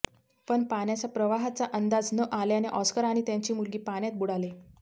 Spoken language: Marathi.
पण पाण्याचा प्रवाहाचा अंदाज न आल्याने ऑस्कर आणि त्यांची मुलगी पाण्यात बुडाले